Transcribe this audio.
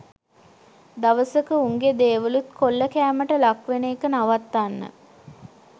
දවසක උන්ගෙ දේවලුත් කොල්ලකෑමට ලක් වෙන එක නවත්තන්න